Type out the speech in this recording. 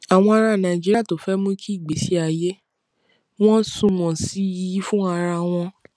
àwọn ará nàìjíríà tó fé mú kí ìgbésí ayé wọn sunwòn sí i fún ara wọn